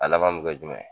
A laban mi kɛ jumɛn